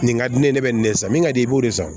Nin ka di ne ye ne bɛ nin de san min ka di i b'o de san